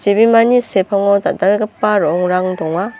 chibimani sepango dal·dalgipa ro·ongrang donga.